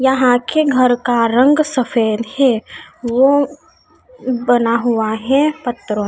यहां के घर का रंग सफेद है वो बना हुआ है पत्तरों --